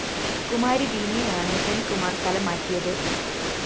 കുമാരി ബീനയെയാണ് സെന്‍കുമാര്‍ സ്ഥലം മാറ്റിയത്